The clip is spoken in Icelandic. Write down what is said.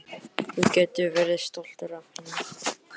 Þú getur verið stoltur af henni.